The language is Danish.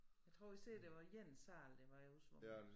Jeg tror de sagde det var én sal der var oversvømmet